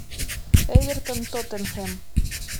эвертон тоттенхэм